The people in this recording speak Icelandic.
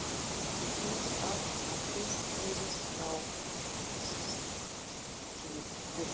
Til hins kafbátsins spurðist frá Þistilfirði.